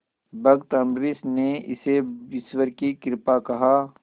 भक्त अम्बरीश ने इसे ईश्वर की कृपा कहा